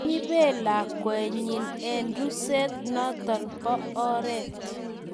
Kiibet lakwenyi eng ruset noto bo oret